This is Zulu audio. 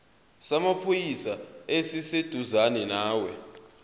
samaphoyisa esiseduzane nawe